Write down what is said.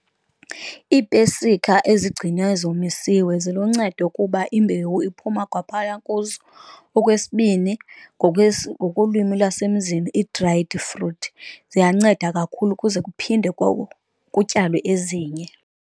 Iipesika ezigcinwe zomisiwe ziluncedo kuba imbewu iphuma kwaphaya kuzo. Okwesibini, ngokolwimi lwasemzini i-dried fruit ziyanceda kakhulu ukuze kuphinde kutyalwe ezinye.